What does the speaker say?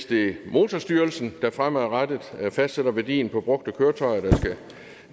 det er motorstyrelsen der fremadrettet fastsætter værdien på brugte køretøjer der skal